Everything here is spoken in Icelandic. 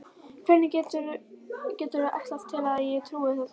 Hvernig geturðu ætlast til að ég trúi þessu rugli?